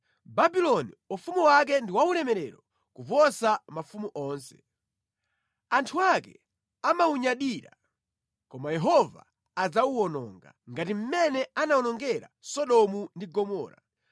Babuloni, ufumu wake ndi waulemerero kuposa mafumu onse. Anthu ake amawunyadira. Koma Yehova adzawuwononga ngati mmene anawonongera Sodomu ndi Gomora.